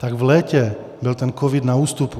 Tak v létě byl ten covid na ústupu.